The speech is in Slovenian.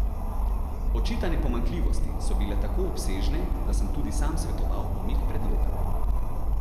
Očitane pomanjkljivosti so bile tako obsežne, da sem tudi sam svetoval umik predloga.